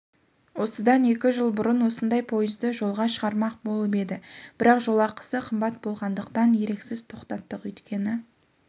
осыдан екі жыл бұрын осындай пойызды жолға шығармақболып едік бірақ жолақысы қымбат болғандықтан еріксіз тоқтаттық өйткені